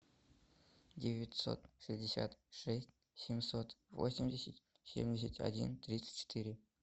девятьсот шестьдесят шесть семьсот восемьдесят семьдесят один тридцать четыре